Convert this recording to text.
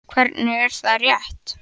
Hvernig, er það rétt?